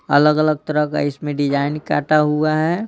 अलग-अलग तरह का इसमें डिज़ाइन काटा हुआ है।